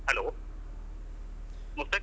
Hello Mushtaq.